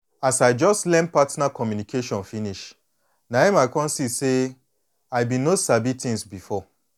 as i just learn partner communication finish na em i come see say i been no sabi things before